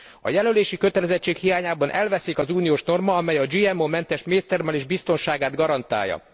A jelölési kötelezettség hiányában elveszik az uniós norma, amely a GMO mentes méztermelés biztonságát garantálja.